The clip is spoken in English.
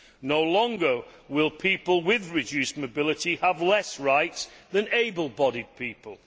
no longer will people with reduced mobility have fewer rights than able bodied people